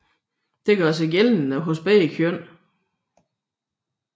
Dette gør sig gældende hos begge køn